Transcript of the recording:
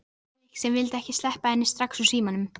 sagði Nikki sem vildi ekki sleppa henni strax úr símanum.